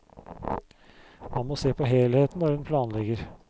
Man må se på helheten når en planlegger.